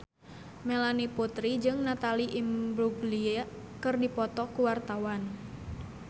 Melanie Putri jeung Natalie Imbruglia keur dipoto ku wartawan